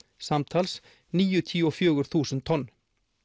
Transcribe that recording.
samtals níutíu og fjögur þúsund tonn